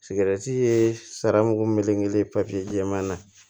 Sigɛrɛti ye saran mugan kelen kelen jɛman na